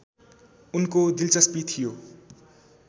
उनको दिलचस्पी थियो